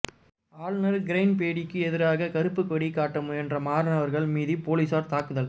ஆளுநர் கிரண்பேடிக்கு எதிராக கருப்புக்கொடி காட்ட முயன்ற மாணவர்கள் மீது போலீஸார் தாக்குதல்